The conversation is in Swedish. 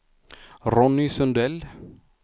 Ronny Sundell